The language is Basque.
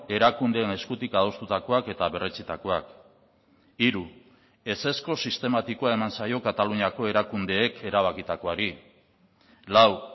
erakundeen eskutik adostutakoak eta berretsitakoak hiru ezezko sistematikoa eman zaio kataluniako erakundeek erabakitakoari lau